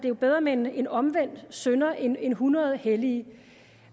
er bedre med en omvendt synder end end hundrede hellige